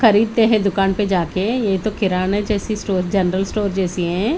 खरीद ते है दुकान पे जाके ये तो किरणे जैसी स्टोर जनरल स्टोर जैसी है।